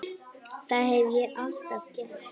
Það hef ég alltaf gert.